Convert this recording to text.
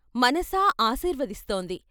మనసా ఆశీర్వదిస్తోంది.